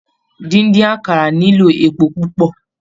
Díndín àkàrà nílò epo púpọ̀.